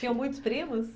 Tinham muitos primos?